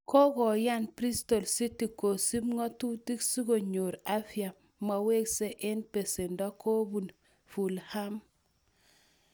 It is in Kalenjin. Kokoyan Bristol City kosub kokwautik si konyor Alfie Mawson eng besendo kobun Fulham.